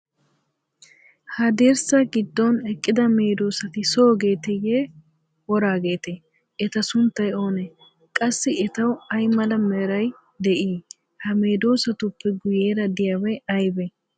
Ha dirssaa giddon eqqida medoosati soogeeteyye, woraageetee? Eta sunttay oonee: qassi etawu ay mala meray de'ii? Ha medoosatuppe guueera de'iyabay aybee?